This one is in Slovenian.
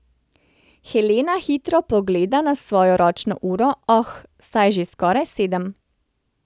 Helena hitro pogleda na svojo ročno uro, oh, saj je že skoraj sedem.